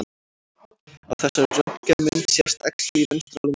Á þessari röntgenmynd sést æxli í vinstra lunga.